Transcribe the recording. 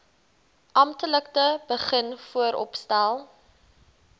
amptelik begin vooropstel